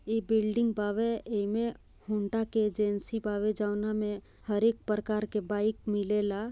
यह बिल्डिंग बाबे ईमे हौंडा के एजेंसी बावे जोनामे हर एक प्रकार के बाइ मिलेला।